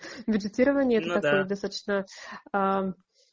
медитирование ну да это такое достаточно